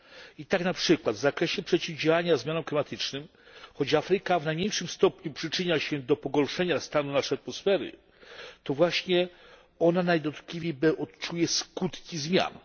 I tak na przykład w zakresie przeciwdziałania zmianom klimatycznym, choć Afryka w najmniejszym stopniu przyczynia się do pogorszenia stanu naszej atmosfery, to właśnie ona najdotkliwiej odczuje skutki zmian.